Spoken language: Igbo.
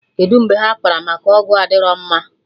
Kedụ mgbe ha kpara maka ọgwụ adịrọ mma?